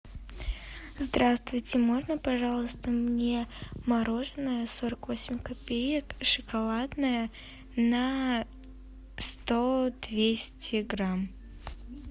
здравствуйте можно пожалуйста мне мороженое сорок восемь копеек шоколадное на сто двести грамм